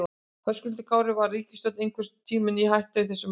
Höskuldur Kári: Var ríkisstjórnin einhvern tímann í hættu í þessu máli?